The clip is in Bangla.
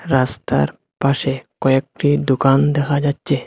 রাস্তার পাশে কয়েকটি দোকান দেখা যাচ্ছে।